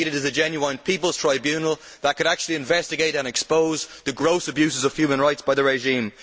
what is needed is a genuine people's tribunal which could actually investigate and expose the gross abuses of human rights by the regime.